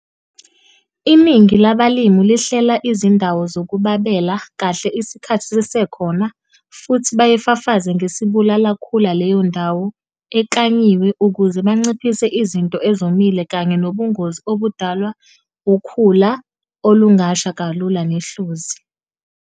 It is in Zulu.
Iningi labalimi lihlela izindawo zokubabela kahle isikhathi sisekhona futhi bayifafaze ngesibulala khula leyo ndawo eklanyiwe ukuze banciphise izinto ezomile kanye nobungozi obudalwa ukhula olungasha kalula nehlozi.